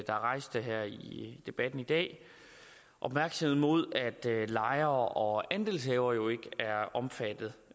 debatten i dag rettede opmærksomheden mod at lejere og andelshavere ikke er omfattet